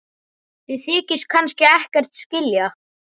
Þið þykist kannski ekkert skilja?